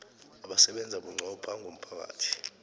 abasebenza bunqopha ngomphakathi